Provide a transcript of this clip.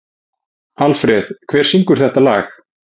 Alfreð, hver syngur þetta lag?